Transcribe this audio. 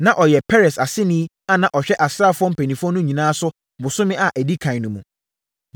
Na ɔyɛ Peres aseni a na ɔhwɛ asraafoɔ mpanimfoɔ no nyinaa so bosome a ɛdi ɛkan no mu.